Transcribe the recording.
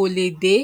jẹ ọ̀gẹ̀dẹ̀